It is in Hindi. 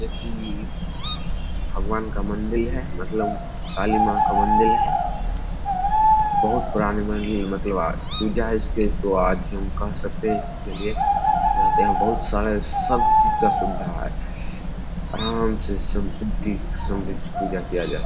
देखी ई भगवान का मंदिल है मतलब काली मां का मंदिल है बहुत पुरानी मंदिल मतलब आज पूजा है इसके तो आज हम कह सकते है इसके लिए यहाँ पे यहाँ बहुत सारे सब चीज का सुविधा है आराम से संपत्ति समृद्ध पूजा किया जा --